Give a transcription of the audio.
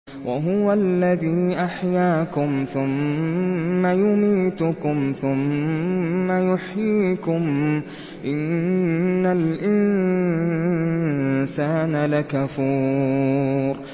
وَهُوَ الَّذِي أَحْيَاكُمْ ثُمَّ يُمِيتُكُمْ ثُمَّ يُحْيِيكُمْ ۗ إِنَّ الْإِنسَانَ لَكَفُورٌ